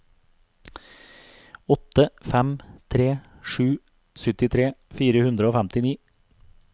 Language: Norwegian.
åtte fem tre sju syttitre fire hundre og femtini